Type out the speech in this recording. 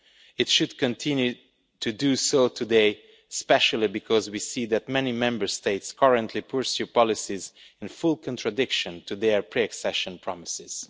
it should continue to do so today, especially because we see that many Member States currently pursue policies in full contradiction of their pre accession promises.